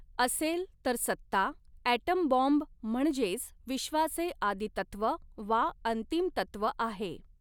असेल, तर सत्ता, ॲटमबाँब म्हणजेच विश्वाचे आदितत्त्व वा अंतिमतत्त्व आहे